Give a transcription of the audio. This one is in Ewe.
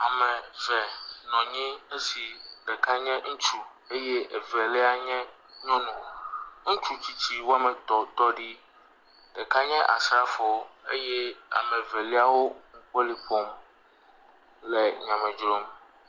Ame eve nɔ anyi esi ɖeka nye ŋutsu eye evelia nye nyɔnu. Ŋutsu tsitsi wɔme etɔ̃ tɔ ɖi. Ɖeka nye asrafo eye ame Evelia wo nukpoli ƒom le nyame dzrom.